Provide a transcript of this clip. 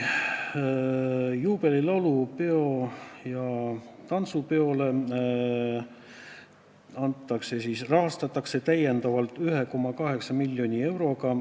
Juubelilaulupidu ja -tantsupidu rahastatakse täiendavalt 1,8 miljoni euroga.